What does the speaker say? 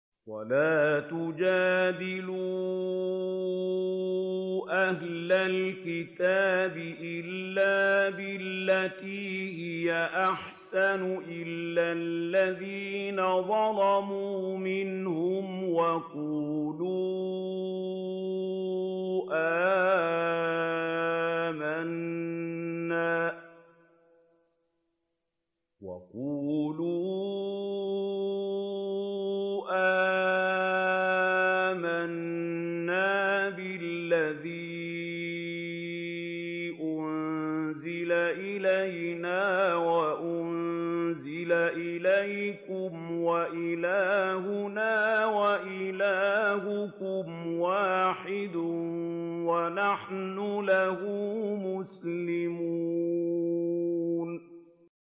۞ وَلَا تُجَادِلُوا أَهْلَ الْكِتَابِ إِلَّا بِالَّتِي هِيَ أَحْسَنُ إِلَّا الَّذِينَ ظَلَمُوا مِنْهُمْ ۖ وَقُولُوا آمَنَّا بِالَّذِي أُنزِلَ إِلَيْنَا وَأُنزِلَ إِلَيْكُمْ وَإِلَٰهُنَا وَإِلَٰهُكُمْ وَاحِدٌ وَنَحْنُ لَهُ مُسْلِمُونَ